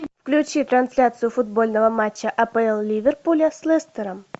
включи трансляцию футбольного матча апл ливерпуля с лестером